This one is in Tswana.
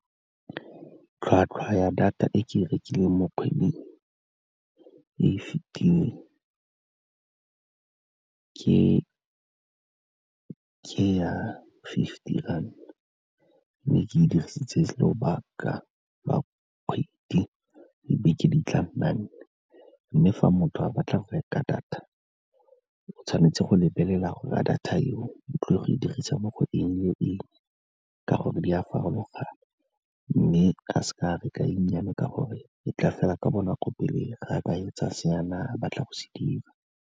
Tlhwatlhwa ya data e ke e rekileng mo kgweding e fitileng ke ya fifty ranta, mme ke dirisitse lobaka lwa kgwedi dibeke di tla nna nne. Mme fa motho a batla go reka data, o tshwanetse go lebelela gore a data eo, o tlile go e dirisa mo go eng le eng ka gore di a farologana, mme a ka seka a reka e nnyane ka gore e tla fela ka bonako, pele ga ka etsa se ne a batla go se dira.